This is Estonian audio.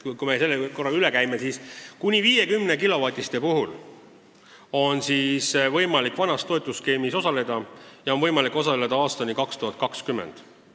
Kui me selle korra üle käime, siis näeme, et kuni 50-kilovatiste seadmete puhul on võimalik vanas toetusskeemis osaleda ja seda kuni aastani 2020.